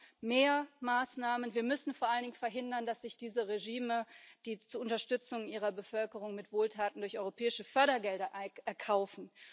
Wir brauchen mehr Maßnahmen, wir müssen vor allen Dingen verhindern, dass sich diese Regime die Unterstützung ihrer Bevölkerung mit Wohltaten durch europäische Fördergelder erkaufen.